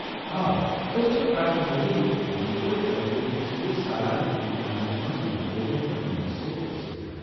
آ، أسۍ چھِ پرٛٮ۪تھ ؤرِیہ یہِ وضیفہٕ طالب علم سندِس سالانہٕ امتحانس منز نتیجن پیٹھ مُنحصر ٲسِتھ دِوان ۔